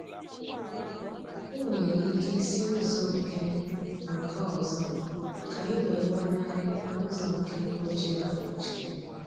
I nwere ike si ụzọ nke nke ọzọ ka ị wee gbanarị ụzọ nke mkpọchiri akpọchi